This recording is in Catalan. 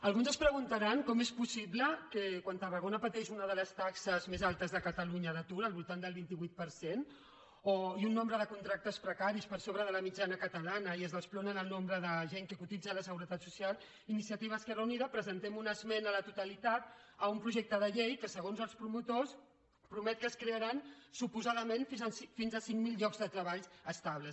alguns es preguntaran com és possible que quan tarragona pateix una de les taxes més altes de catalunya d’atur al voltant del vint vuit per cent i un nombre de contractes precaris per sobre de la mitjana catalana i es desploma el nombre de gent cotitza a la seguretat social iniciativa esquerra unida presentem una esmena a la totalitat a un projecte de llei que segons els promotors promet que es crearan suposadament fins a cinc mil llocs de treball estables